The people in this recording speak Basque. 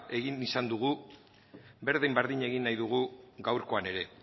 izan dugu berdin berdin egin nahi dugu gaurkoan ere